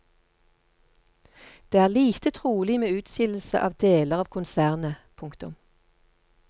Det er lite trolig med utskillelse av deler av konsernet. punktum